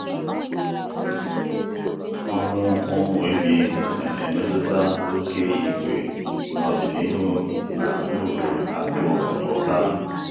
ọnwụ ụmụ ehi na-emetụta oke ìgwè n’ọdịnihu na uru akụ na ụba.